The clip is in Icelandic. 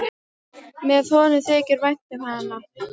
Hvað honum þykir vænt um hana!